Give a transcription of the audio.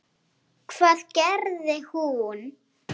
Hvað gerði hún?